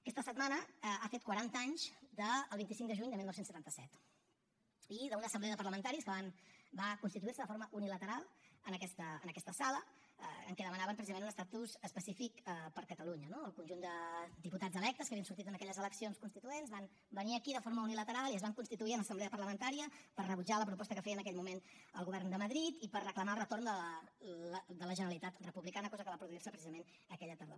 aquesta setmana ha fet quaranta anys del vint cinc de juny de dinou setanta set i d’una assemblea de parlamentaris que va constituir se de forma unilateral en aquesta sala en què demanaven precisament un estatus específic per a catalunya no el conjunt de diputats electes que havien sortit en aquelles eleccions constituents van venir aquí de forma unilateral i es van constituir en assemblea parlamentària per rebutjar la proposta que feia en aquell moment el govern de madrid i per reclamar el retorn de la generalitat republicana cosa que va produir se precisament aquella tardor